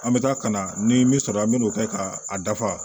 An bɛ taa ka na ni min sɔrɔ an bɛ n'o kɛ ka a dafa